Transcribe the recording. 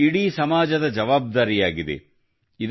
ಇದು ಇಡೀ ಸಮಾಜದ ಜವಾಬ್ದಾರಿಯಾಗಿದೆ